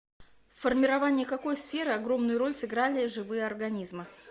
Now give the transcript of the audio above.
в формировании какой сферы огромную роль сыграли живые организмы